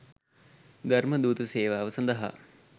ධර්මදූත සේවාව සඳහා